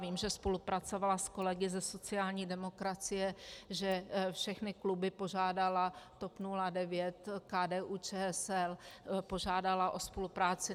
Vím, že spolupracovala s kolegy ze sociální demokracie, že všechny kluby požádala, TOP 09, KDU-ČSL, požádala o spolupráci.